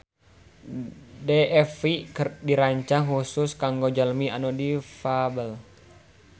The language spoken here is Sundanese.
DFV dirancang khusus kanggo jalmi anu difabel